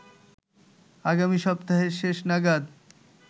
আগামী সপ্তাহের শেষ নাগাদ